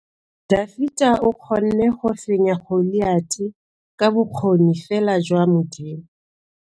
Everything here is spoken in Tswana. Dafita o kgonne go fenya Goliata ka bokgoni fela jwa Modimo.